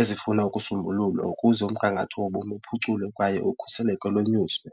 ezifuna ukusombululwa ukuze umgangatho wobomi uphuculwe kwaye ukhuseleko lonyuswe.